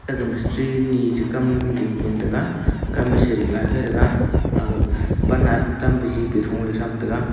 agah mistry ne kam ding taiga kam a ceding laifa taga agah pan a tam jije tho le tham taiga.